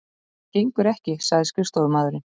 Það gengur ekki sagði skrifstofumaðurinn.